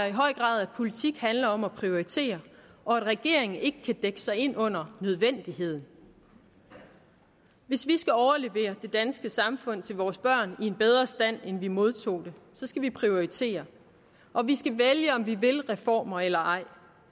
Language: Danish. i høj grad at politik handler om at prioritere og at regeringen ikke kan dække sig ind under nødvendigheden hvis vi skal overlevere det danske samfund til vores børn i en bedre stand end vi modtog det så skal vi prioritere og vi skal vælge om vi vil reformer eller ej